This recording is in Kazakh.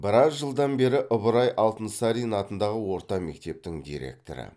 біраз жылдан бері ыбырай алтынсарин атындағы орта мектептің директоры